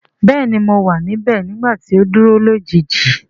Bẹẹni mo wa nibẹ nigbati o duro lojiji.